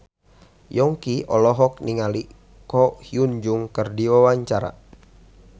Yongki olohok ningali Ko Hyun Jung keur diwawancara